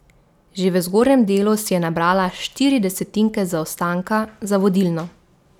Že v zgornjem delu si je nabrala štiri desetinke zaostanka za vodilno.